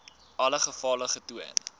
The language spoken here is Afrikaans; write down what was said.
alle gevalle getoon